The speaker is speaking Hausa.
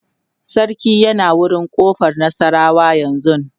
sarki yana wurin ƙofar nasarawa yanzun